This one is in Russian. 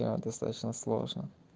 да достаточно сложно